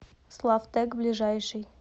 славтэк ближайший